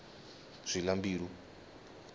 zilambilu